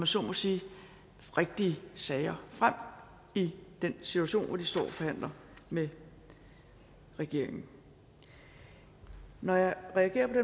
så må sige rigtige sager frem i den situation hvor de står og forhandler med regeringen når jeg reagerer på